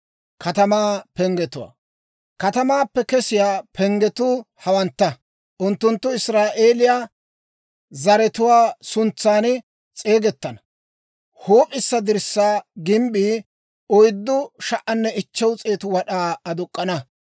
«Katamaappe kesiyaa penggetuu hawantta. Unttunttu Israa'eeliyaa zaratuwaa suntsan s'eegettana. Huup'issa dirssaa gimbbii 4,500 wad'aa aduk'k'ana;